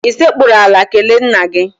I sekpuru ala kelee nna gị?